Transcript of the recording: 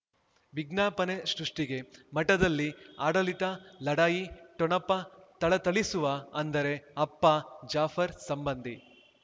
ವಿಜ್ಞಾಪನೆ ಸೃಷ್ಟಿಗೆ ಮಠದಲ್ಲಿ ಆಡಳಿತ ಲಢಾಯಿ ಠೊಣಪ ಥಳಥಳಿಸುವ ಅಂದರೆ ಅಪ್ಪ ಜಾಫರ್ ಸಂಬಂಧಿ